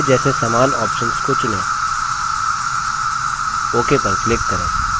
पहले जैसे समान options को चुनें ok पर click करें